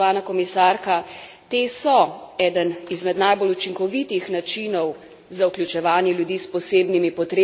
Te so eden izmed najbolj učinkovitih načinov za vključevanje ljudi s posebnimi potrebami na trg dela.